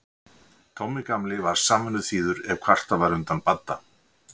Tommi gamli var samvinnuþýður ef kvartað var undan Badda.